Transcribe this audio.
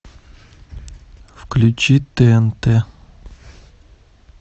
включи тнт